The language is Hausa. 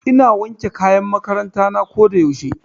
Ina wanke kayan makaranta na ko da yaushe.